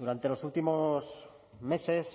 durante los últimos meses